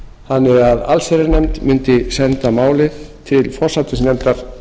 forsætisnefndar þannig að allsherjarnefnd mundi senda málið til forsætisnefndar